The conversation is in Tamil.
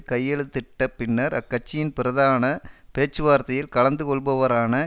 கையெழுத்திட்டப்பின்னர் அக்கட்சியின் பிரதான பேச்சுவார்த்தையில் கலந்து கொள்பவரான